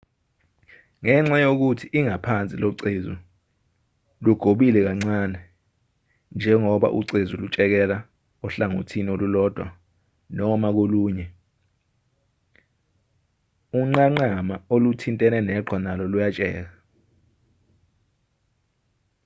ngenxa yokuthi ingaphansi locezu lugobile kancane njengoba ucezu lutshekela ohlangothini olulodwa noma kolunye unqanqama oluthintene neqhwa nalo luyatsheka